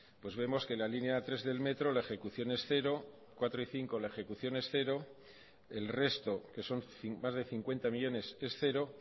vemos que la línea tres del metro la ejecución es cero cuarto y quinto la ejecución es cero el resto que son más de cincuenta millónes es cero